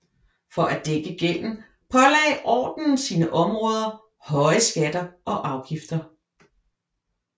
For at dække gælden pålagde ordenen sine områder høje skatter og afgifter